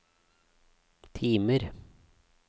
timer